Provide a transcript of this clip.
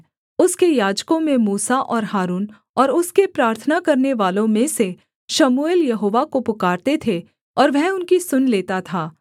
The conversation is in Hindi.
उसके याजकों में मूसा और हारून और उसके प्रार्थना करनेवालों में से शमूएल यहोवा को पुकारते थे और वह उनकी सुन लेता था